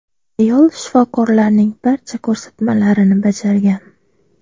Ayol shifokorlarning barcha ko‘rsatmalarini bajargan.